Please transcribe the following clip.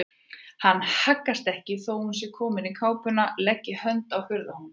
Hann haggast ekki þó að hún sé komin í kápuna og leggi hönd á hurðarhúninn.